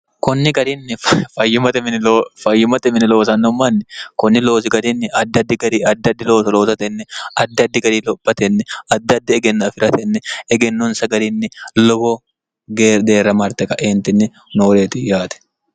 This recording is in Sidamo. kunni gariinni fayyimate mini loosannommanni kunni loozi gariinni addaddi gari addaddi lowoso lootatenni addaddi gari lophatenni addaddi egennu afi'ratenni egennunsa gariinni lowo geedeerra marte kaeentinni nooreeti yaate